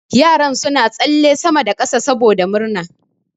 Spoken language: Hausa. Yaran suna tsalle sama da kasa saboda murna.